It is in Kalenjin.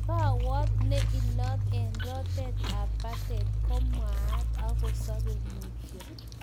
Kawot ne ilot eng rotet ap patet komwan ak kosape mutyo